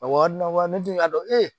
Awɔ ne tun y'a dɔn e